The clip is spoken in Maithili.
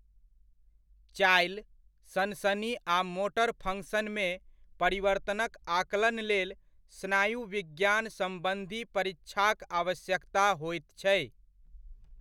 चालि, सनसनी आ मोटर फ़ंक्शन मे परिवर्तनक आकलन लेल स्नायु विज्ञान सम्बन्धी परीक्षाक आवश्यकता होइत छै।